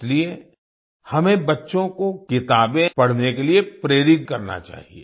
इसलिए हमें बच्चों को किताबें पढ़ने के लिए प्रेरित करना चाहिए